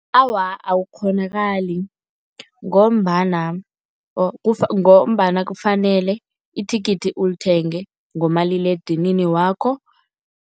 Awa, akukghonakali ngombana ngombana kufanele ithikithi ulithenge ngomaliledinini wakho.